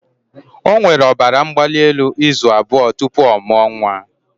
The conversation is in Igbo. O nwere ọbara mgbali elu izu abụọ tupu ọ mụọ nwa